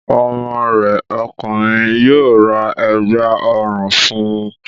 Ọmọ rẹ ọkùnrin yóò ra Ẹ̀gbá ọrùn fun